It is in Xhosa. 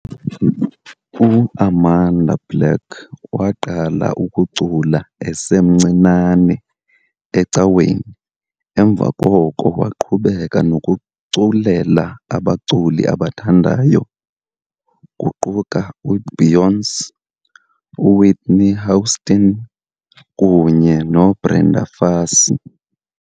UAmanda Black waqala ukucula esemncinane ecaweni emva koko waqhubeka nokuculela abaculi abathandayo, kuquka uBeyoncé, uWhitney Houston, kunye noBrenda Fassie.